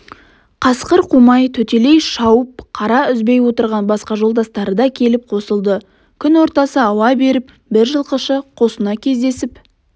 қасқыр қумай төтелей шауып қара үзбей отырған басқа жолдастары да келіп қосылды түн ортасы ауа бере бір жылқышы қосына кездесіп